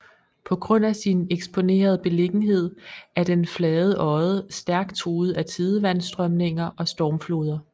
På grund af sin eksponerede beliggenhed er den flade odde stærk truet af tidevandsstrømninger og stormfloder